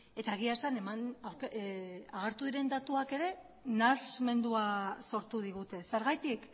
eta egia esan agertu diren datuak ere nahasmendua sortu digute zergatik